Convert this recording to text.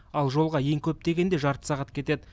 ал жолға ең көп дегенде жарты сағат кетеді